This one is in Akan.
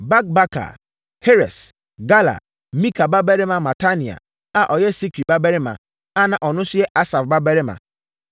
Bakbakar; Heres; Galal; Mika babarima Matania a ɔyɛ Sikri babarima, na ɔno nso yɛ Asaf babarima,